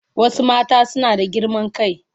Wasu mata suna da girman kai.